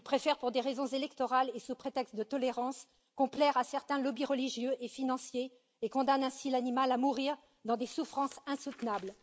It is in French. Ils préfèrent, pour des raisons électorales et sous prétexte de tolérance, complaire à certains lobbies religieux et financiers, et condamnent ainsi l'animal à mourir dans des souffrances insoutenables.